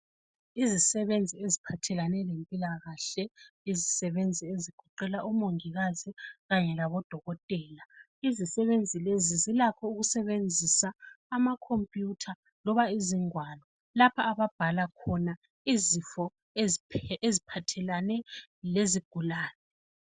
Izisebenzi eziphathelane lempilakahle izisebenzi ezigoqela omongikazi kanye labodokotela izisebenzi lezi zilakho ukusebenzisa amacomputer loba izigwalo lapho ababhala khona izifo eziphathelane lezigulani